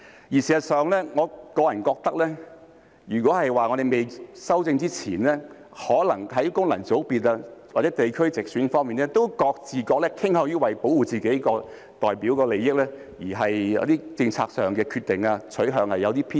事實上，我個人認為在未修訂前，功能界別或地區直選可能都會各自傾向保護自己代表的利益，而在政策上的一些決定和取向會有些偏私。